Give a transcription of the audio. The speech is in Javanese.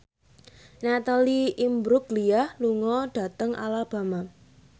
Natalie Imbruglia lunga dhateng Alabama